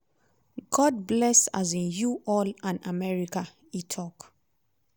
"god bless um you all and america" e tok.